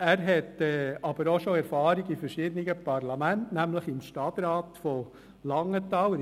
Er hat aber auch schon Erfahrung in verschiedenen Parlamenten gesammelt, so etwa im Stadtrat von Langenthal.